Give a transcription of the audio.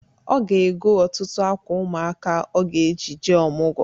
Ọ ga-ego ọtụtụ akwa ụmụaka ọ ga-eji jee ọmụgọ.